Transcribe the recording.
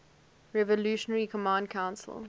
revolutionary command council